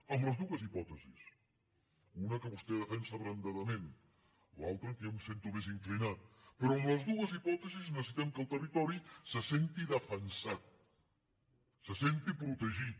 en les dues hipòtesis una que vostè defensa abrandadament l’altra en què jo em sento més inclinat però en les dues hipòtesis necessitem que el territori se senti defensat se senti protegit